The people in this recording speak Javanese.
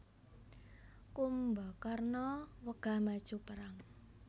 Kumbakarna wegah maju perang